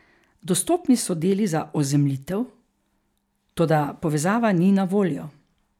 Dostopni so deli za ozemljitev, toda povezava ni na voljo.